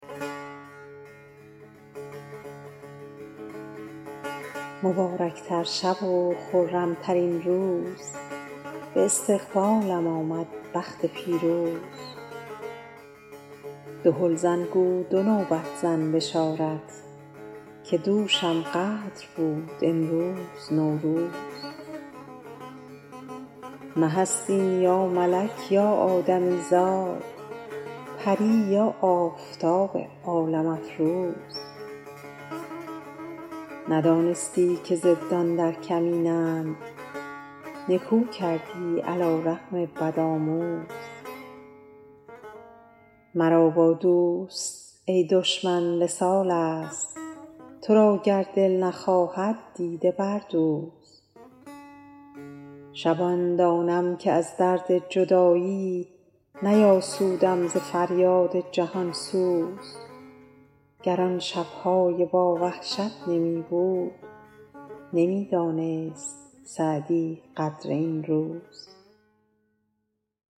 مبارک تر شب و خرم ترین روز به استقبالم آمد بخت پیروز دهل زن گو دو نوبت زن بشارت که دوشم قدر بود امروز نوروز مه است این یا ملک یا آدمی زاد پری یا آفتاب عالم افروز ندانستی که ضدان در کمینند نکو کردی علی رغم بدآموز مرا با دوست ای دشمن وصال است تو را گر دل نخواهد دیده بردوز شبان دانم که از درد جدایی نیاسودم ز فریاد جهان سوز گر آن شب های با وحشت نمی بود نمی دانست سعدی قدر این روز